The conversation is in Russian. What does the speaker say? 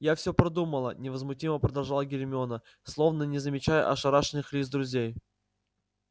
я все продумала невозмутимо продолжала гермиона словно не замечая ошарашенных лиц друзей